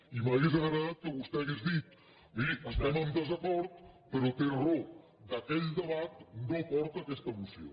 i m’hauria agradat que vostè hagués dit miri estem amb desacord però té raó aquell debat no porta aquesta moció